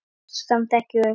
Gefst samt ekki upp.